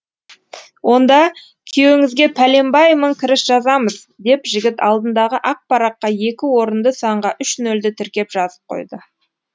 онда күйеуіңізге пәленбай мың кіріс жазамыз деп жігіт алдындағы ақ параққа екі орынды санға үш нөлді тіркеп жазып қойды